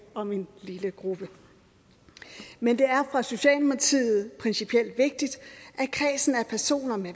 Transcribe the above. om en lille gruppe men det er for socialdemokratiet principielt vigtigt at kredsen af personer med